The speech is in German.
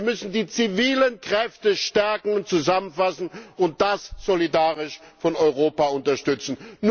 Wir müssen die zivilen Kräfte stärken und zusammenfassen und das solidarisch durch Europa unterstützen.